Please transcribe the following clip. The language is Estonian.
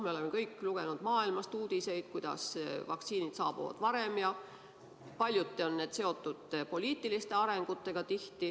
Me oleme kõik lugenud maailmast uudiseid, kuidas vaktsiinid saabuvad varem, ja paljuti on need seotud poliitiliste arengutega.